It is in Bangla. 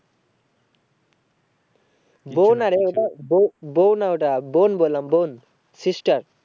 বউ না রে ওটা বউ বউ না ওটা বোন বললাম বোন sister